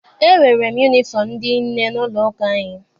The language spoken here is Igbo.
E nwere m yunifọm ndị nne n'ụlọ ụka anyị.